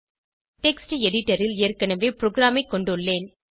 text editor ல் ஏற்கனவே ப்ரோகிராமைக் கொண்டுள்ளேன்